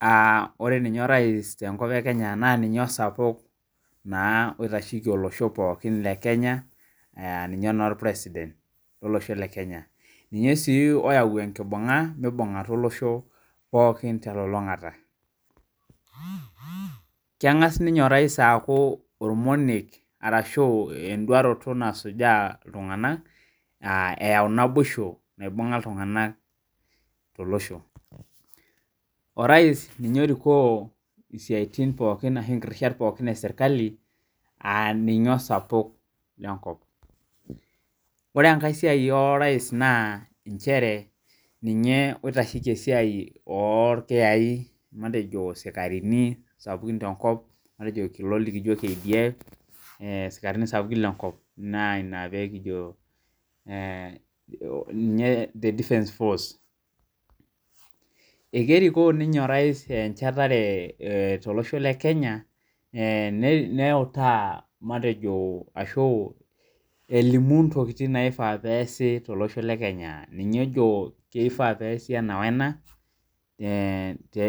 Aa ore ninye orais tenkop ekenya naninye osapuk oitasheki olosho le Kenya na ninye orpresident ninye si oyau enkibunga mibungata olosho telulungata kengasa ninye orais aaku orngoniet ashu enduaroto nasuja ltunganak aa eyau naboisha naibunga ltunganak tolosho orais ninye osapuk lenkop ore enkae sia orais na ninye oitasheki sikarini lenkop matejo kulo likijo kdf ee sikarini sapukin tenkop ekerikoo ninye orais enchetare tolosho le Kenya nelimu ntokitin naifaa peasi tolosho le kenya ninye ojo keasi ena wena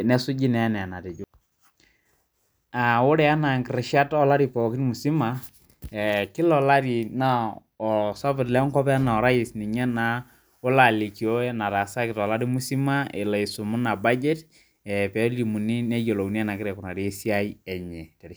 nesuji anaa enetejo ore ana kila olari na osapuk lenkop naa orais ninye naa olo alikio enataasaki tolosho lekenya pelimuni neyiolouni enegira aikunari esiaia enye.